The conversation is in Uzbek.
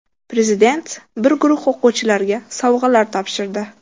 Prezident bir guruh o‘quvchilarga sovg‘alar topshirdi.